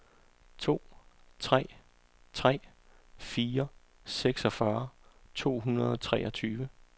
to tre tre fire seksogfyrre to hundrede og treogtyve